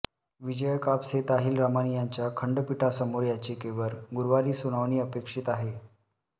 विजया कापसे ताहिलरामाणी यांच्या खंडपीठासमोर याचिकेवर गुरुवारी सुनावणी अपेक्षित आहे